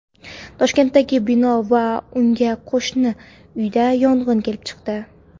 Toshkentdagi bino va unga qo‘shni uyda yong‘in kelib chiqdi.